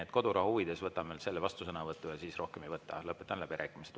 Aga kodurahu huvides võtan veel selle vastusõnavõtu ja siis rohkem ei võta, lõpetan läbirääkimised.